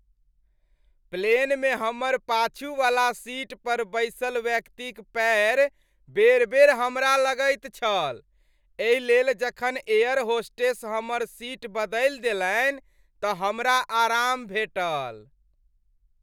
प्लेनमे हमर पाछूवला सीट पर बैसल व्यक्तिक पैर बेर बेर हमरा लगैत छल, एहि लेल जखन एयर होस्टेस हमर सीट बदलि देलनि तऽ हमरा आराम भेटल ।